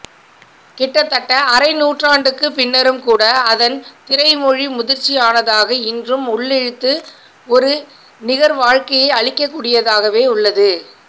கிட்டத்தட்ட அரைநூற்றாண்டுக்குப் பின்னரும்கூட அதன் திரைமொழி முதிர்ச்சியானதாக இன்றும் உள்ளிழுத்து ஒரு நிகர்வாழ்க்கையை அளிக்கக்கூடியதாகவே உள்ளது